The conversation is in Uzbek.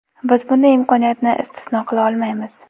Biz bunday imkoniyatni istisno qila olmaymiz”.